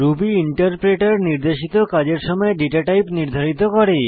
Ruby interpreter নির্দেশিত কাজের সময় ডেটাটাইপ নির্ধারিত করে